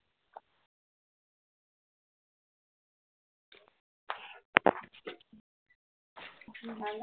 মানে